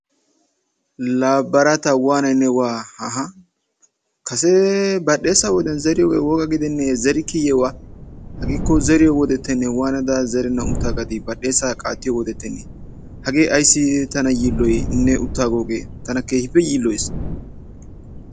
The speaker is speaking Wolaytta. Laa baraata waanayi ne wa haaha! kasee badhdheesa wode zeriyogee woga gidennee zerikkiiyye wa! hageekko zeriyo wodettennee waanada zerennan uttaagadii badhdheesaa qaattiyo wodettennee. Hagee ayissi tana yiilloyii ne uttaagoogee tana keehippe yiilloyes.